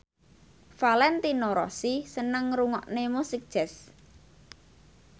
Valentino Rossi seneng ngrungokne musik jazz